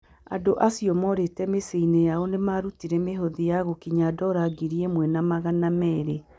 Andũ acio morĩte mĩciĩ yaonĩ nĩ maarutire mĩhothi na gũkinya dola ngiri ĩmwe na magana meerĩ.